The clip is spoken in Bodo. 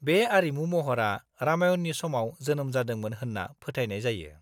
-बे आरिमु महरा रामायणनि समाव जोनोम जादोंमोन होन्ना फोथायनाय जायो।